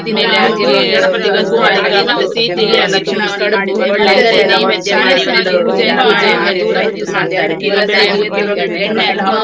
ಹಾಗೆಲ್ಲಾ ಒಂದು ಆ ದಿನ ಒಂದು ತುಂಬಾ ಒಳ್ಳೆ ದಿನಗಳು ಎಲ್ಲರೊಟ್ಟಿಗೆ ಆ ಒಂದ್ ಆಡಿದ ದಿನ, ಎಲ್ಲಾಸ ನನಗೀಗ ನೆನಪಾಗ್ತದೆ.